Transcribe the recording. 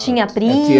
Tinha